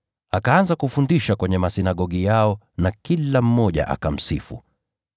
Akaanza kufundisha kwenye masinagogi yao, na kila mmoja akamsifu.